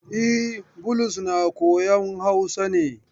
E, Bulus na koyan Hausa ne.